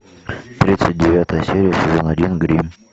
тридцать девятая серия сезон один гримм